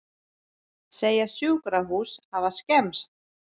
Segja sjúkrahús hafa skemmst